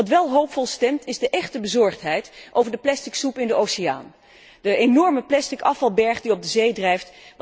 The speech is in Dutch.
Wat wel hoopvol stemt is de echte bezorgdheid over de plastic soep in de oceaan, de enorme plastic afvalberg die op de zee drijft.